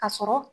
Ka sɔrɔ